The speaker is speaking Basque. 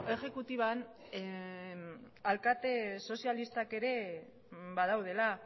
exekutiban alkate sozialistak ere badaudela